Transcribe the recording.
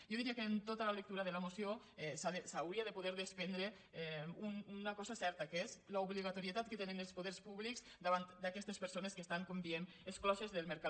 jo diria que en tota la lectura de la moció s’hauria de poder desprendre una cosa certa que és l’obligatorietat que tenen els poders públics davant d’aquestes persones que estan com diem excloses del mercat